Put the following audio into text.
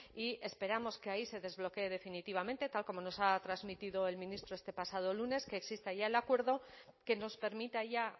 y esperamos que ahí se desbloquee definitivamente tal como nos ha transmitido el ministro este pasado lunes que exista ya el acuerdo que nos permita allá